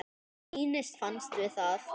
Klínist fast við það.